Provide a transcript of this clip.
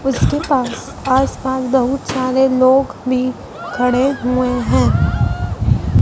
उसके पास आस-पास बहुत सारे लोग भी खड़े हुए हैं।